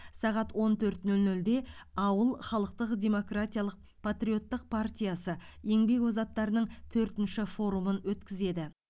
сағат он төрт нөл нөлде ауыл халықтық демократиялық патриоттық партиясы еңбек озаттарының төртінші форумын өткізеді